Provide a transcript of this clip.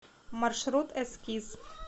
маршрут эскиз